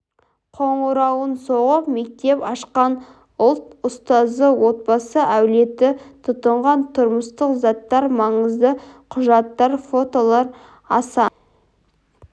қоңырауын соғып мектеп ашқан ұлт ұстазы отбасы әулеті тұтынған тұрмыстық заттар маңызды құжаттар фотолар аса